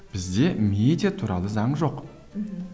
бізде медиа туралы заң жоқ мхм